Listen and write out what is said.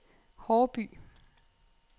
Haarby